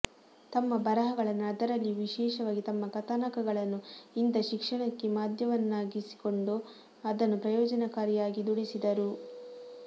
ತಮ್ಮ ಬರಹಗಳನ್ನು ಅದರಲ್ಲಿಯೂ ವಿಶೇಷವಾಗಿ ತಮ್ಮ ಕಥಾನಕಗಳನ್ನು ಇಂಥ ಶಿಕ್ಷಣಕ್ಕೆ ಮಾಧ್ಯಮವನ್ನಾಗಿಸಿಕೊಂಡು ಅದನ್ನು ಪ್ರಯೋಜನಕಾರಿ ಯಾಗಿ ದುಡಿಸಿದರು